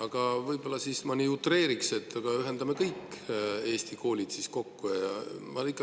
Ma võib-olla utreeriks: aga ühendame siis kõik Eesti koolid kokku!